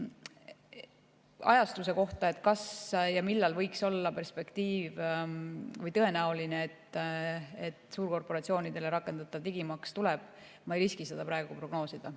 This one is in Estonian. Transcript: Ajastust, kas ja millal võiks olla tõenäoline, et suurkorporatsioonidele rakendatav digimaks tuleb, ei riski ma praegu prognoosida.